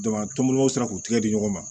a tɔmɔnɔ sera k'u tigɛ di ɲɔgɔn ma